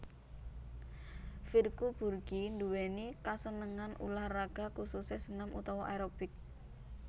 Virku Burky nduwèni kasenengan ulah raga khususé senam utawa aerobik